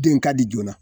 Den ka di joona